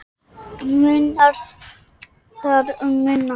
Munar þar um minna.